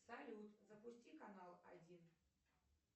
салют запусти канал один